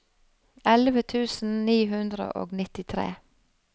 elleve tusen ni hundre og nittitre